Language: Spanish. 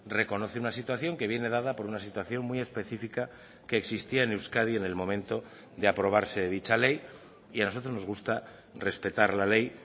reconoce una situación que viene dada por una situación muy específica que existía en euskadi en el momento de aprobarse dicha ley y a nosotros nos gusta respetar la ley